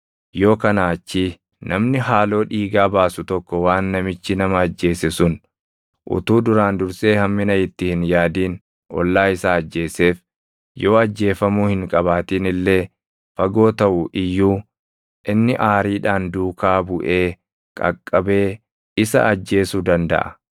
Yoo kanaa achii namni haaloo dhiigaa baasu tokko waan namichi nama ajjeese sun utuu duraan dursee hammina itti hin yaadin ollaa isaa ajjeeseef yoo ajjeefamuu hin qabaatin illee fagoo taʼu iyyuu inni aariidhaan duukaa buʼee qaqqabee isa ajjeesuu dandaʼa.